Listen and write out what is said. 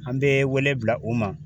An bɛ wele bila u ma.